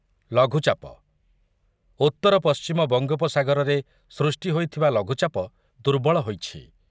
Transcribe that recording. ଲଘୁଚାପ ଉତ୍ତର ପଶ୍ଚିମ ବଙ୍ଗୋପସାଗରରେ ସୃଷ୍ଟି ହୋଇଥିବା ଲଘୁଚାପ ଦୁର୍ବଳ ହୋଇଛି ।